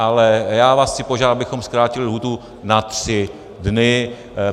Ale já vás chci požádat, abychom zkrátili lhůtu na 3 dny.